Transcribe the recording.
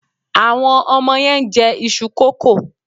Àwọn ọmọ yẹn ń jẹ iṣu kókò.